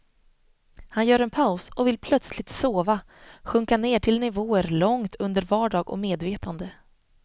Han gör en paus och vill plötsligt sova, sjunka ner till nivåer långt under vardag och medvetande.